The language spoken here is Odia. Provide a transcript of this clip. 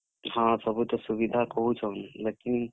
ହଁ, ସବୁ ତ ସୁବିଧା କହୁଛନ୍ ବାକି।